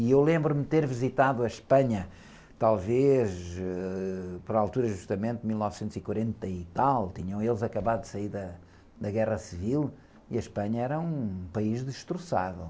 E eu lembro-me de ter visitado a Espanha, talvez, ãh, para a altura justamente de mil novecentos e quarenta e tal, tinham eles acabado de sair da, da Guerra Civil, e a Espanha era um país destroçado.